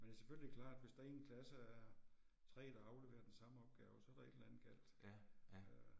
Men det er selvfølgelig klart hvis der i en klasse er 3 der afleverer den samme opgave, så er der et eller andet galt, øh